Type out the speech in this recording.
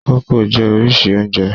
Kókò jẹ́ oríṣìí oúnjẹ.